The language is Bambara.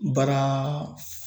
Baara